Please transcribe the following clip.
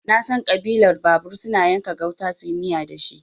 Nasan Ƙabilar babur suna yanka gauta suyi miya dashi